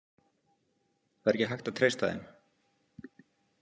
Það er ekki hægt að treysta þeim.